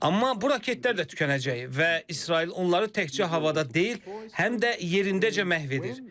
Amma bu raketlər də tükənəcək və İsrail onları təkcə havada deyil, həm də yerindəcə məhv edir.